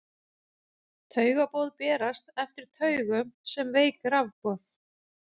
Taugaboð berast eftir taugum sem veik rafboð.